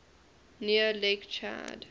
near lake chad